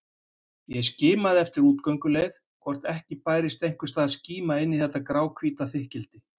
Ég skimaði eftir útgönguleið, hvort ekki bærist einhvers staðar skíma inn í þetta gráhvíta þykkildi.